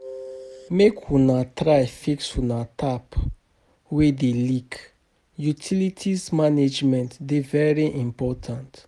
Make una try fix una tap wey dey leak, utilities management dey very important.